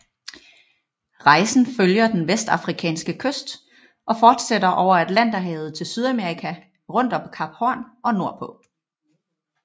Rejsen følger den vestafrikanske kyst og fortsætter over atlanterhavet til Sydamerika rundt om Kap Horn og nordpå